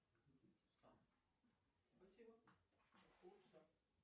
джой ты старый молодой или средневозрастной